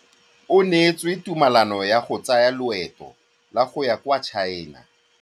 O neetswe tumalanô ya go tsaya loetô la go ya kwa China.